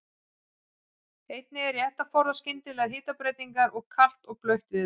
Einnig er rétt að forðast skyndilegar hitabreytingar og kalt og blautt veður.